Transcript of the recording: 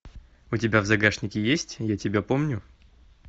у тебя в загашнике есть я тебя помню